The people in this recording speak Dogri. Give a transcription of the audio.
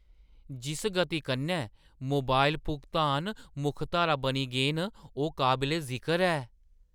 जिस गति कन्नै मोबाइल भुगतान मुक्ख धारा बनी गे न, ओह् काबले-जिकर ऐ।